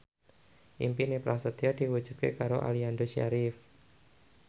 impine Prasetyo diwujudke karo Aliando Syarif